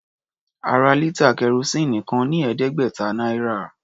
A ra lítà kẹrosíìnì kan ní ẹ̀ẹ́dẹ́gbẹ̀ta náírà.